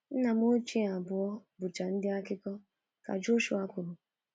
“Nna m ochie abụọ bụcha ndị akụkọ, ka Joshua kwuru.